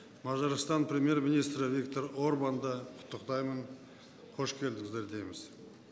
мажарстан премьер министрі виктор орбанды құттықтаймын қош келдіңіздер дейміз